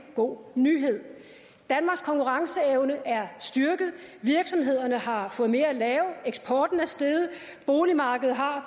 god nyhed danmarks konkurrenceevne er styrket virksomhederne har fået mere at lave eksporten er steget boligmarkedet har